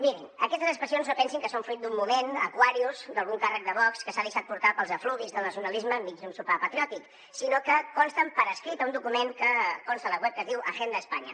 mirin aquestes expressions no pensin que són fruit d’un moment aquarius d’al·gun càrrec de vox que s’ha deixat portar pels efluvis del nacionalisme enmig d’un sopar patriòtic sinó que consten per escrit a un document que consta a la web que es diu agenda españa